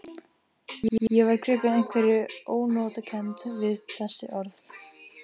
Ég var gripinn einhverri ónotakennd við þessi orð.